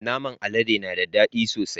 Naman alade na da dadi sosai.